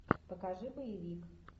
покажи боевик